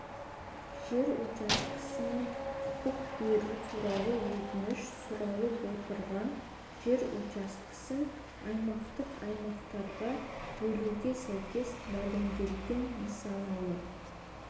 жер учаскесіне құқық беру туралы өтініш сұралып отырған жер учаскесін аумақтық аймақтарға бөлуге сәйкес мәлімделген нысаналы